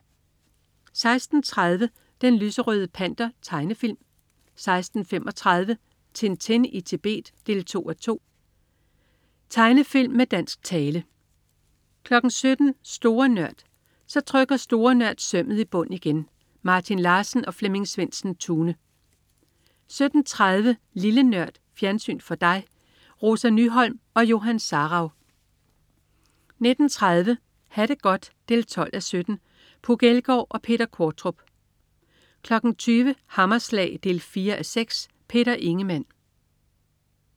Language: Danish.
16.30 Den lyserøde Panter. Tegnefilm 16.35 Tintin. Tintin i Tibet 2:2. Tegnefilm med dansk tale 17.00 Store Nørd. Så trykker Store Nørd sømmet i bund igen. Martin Larsen og Flemming Svendsen-Tune 17.30 Lille Nørd. Fjernsyn for dig. Rosa Nyholm og Johan Sarauw 19.30 Ha' det godt 12:17. Puk Elgård og Peter Qvortrup 20.00 Hammerslag 4:6. Peter Ingemann